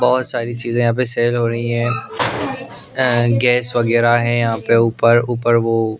बहुत सारी चीजें यहाँ पे सेल हो रही हैं गैस वगैरह है यहाँ पे ऊपर ऊपर वो--